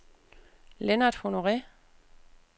Lennart Honore